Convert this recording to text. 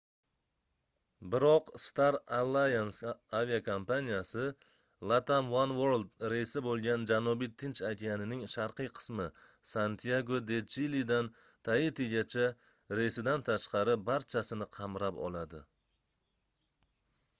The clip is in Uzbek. biroq star alliance aviakompaniyasi latam oneworld reysi boʻlgan janubiy tinch okeanining sharqiy qismi santyago de chilidan taitigacha reysidan tashqari barchasini qamrab oladi